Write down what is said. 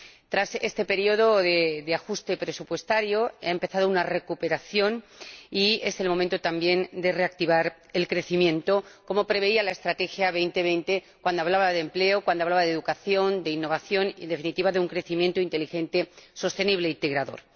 Tras este periodo de ajuste presupuestario, ha empezado una recuperación y es el momento también de reactivar el crecimiento, como preveía la Estrategia Europa 2020 cuando hablaba de empleo, cuando hablaba de educación, de innovación y, en definitiva, de un crecimiento inteligente, sostenible e integrador.